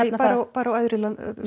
bara á æðri